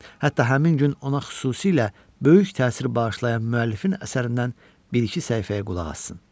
Hətta həmin gün ona xüsusilə böyük təsir bağışlayan müəllifin əsərindən bir-iki səhifəyə qulaq assın.